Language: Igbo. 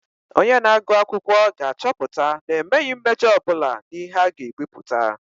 Onye na-agụ akwụkwọ na-achọpụta na emeghị mmejọ ọ bụla n'ihe a ga-ebipụta.